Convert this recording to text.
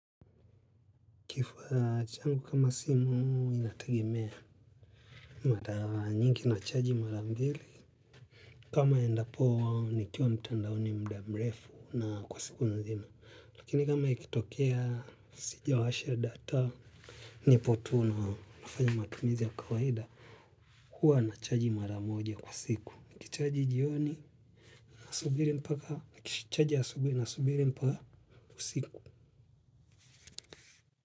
Kifuaa changu kama simu inategemea mara nyingi nachaji mara mbili kama endapo nikiwa mtandaoni muda mrefu na kwa siku nzima. Lakini kama ikitokea sijawasha data nipo tu na nafanya matumizi ya kawaida huwa nachaji mara moja kwa siku. Nikichaji jioni na subiri mpaka chaji ya subiri na subiri mpaka kwa siku.